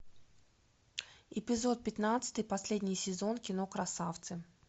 эпизод пятнадцатый последний сезон кино красавцы